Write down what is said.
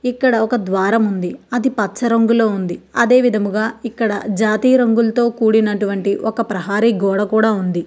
ఇక్కడ ఒక ద్వారము ఉంది. అది పచ్చ రంగులో ఉంది. అదే విధముగా జాతీయ రంగులతో కూడినటువంటి ఒక ప్రహరీ గోడ కూడా ఉంది.